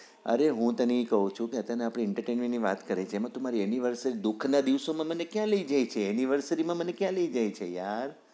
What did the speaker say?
અરે હું તને એ કઉ છુ કે તને આપડી entertainment ની વાત કરીએ છે એમાં તું મારી anniversary નાં દુઃખ ના દિવસો માં મને ક્યાં લઇ જાય છે v માં મને ક્યાં લઇ જાય છે યાર